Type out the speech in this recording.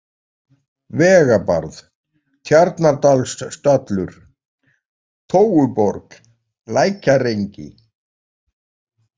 Vegabarð, Tjarnardalsstallur, Tóuborg, Lækjarengi